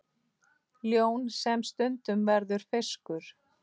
Ljón sem stundum verður fiskur.